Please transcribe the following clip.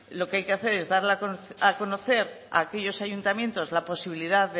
lo que hay que hacer es dar a conocer a aquellos ayuntamientos la posibilidad